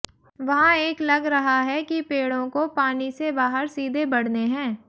वहाँ एक लग रहा है कि पेड़ों को पानी से बाहर सीधे बढ़ने है